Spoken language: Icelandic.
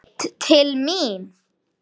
Beint til mín!